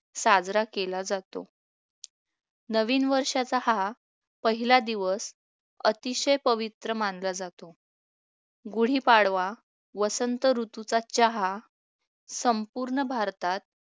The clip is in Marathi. साजरा केला जातो नवीन वर्षाचा हा पहिला दिवस अतिशय पवित्र मानला जातो गुढीपाडवा वसंत ऋतूचा चहा संपूर्ण भारतात